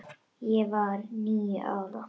Ég var níu ára.